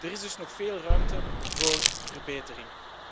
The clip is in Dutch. Er is dus nog veel ruimte voor verbetering.